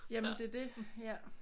Jamen det er det ja